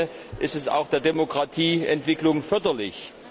In dem Sinne ist es auch der Demokratieentwicklung förderlich.